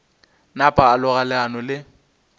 napa a loga leano le